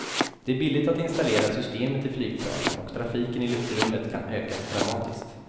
Det är billigt att installera systemet i flygplanen och trafiken i luftrummet kan ökas dramatiskt.